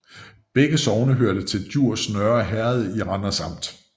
Begge sogne hørte til Djurs Nørre Herred i Randers Amt